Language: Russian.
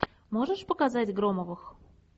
можешь показать громовых